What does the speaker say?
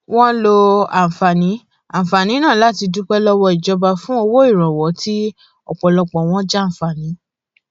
wọn lo àǹfààní àǹfààní náà láti dúpẹ lọwọ ìjọba fún owó ìrànwọ tí ọpọlọpọ wọn jàǹfààní